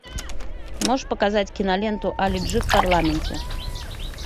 можешь показать киноленту али джи в парламенте